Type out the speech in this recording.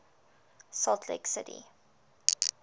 salt lake city